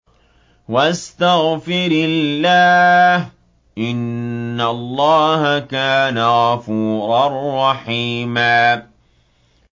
وَاسْتَغْفِرِ اللَّهَ ۖ إِنَّ اللَّهَ كَانَ غَفُورًا رَّحِيمًا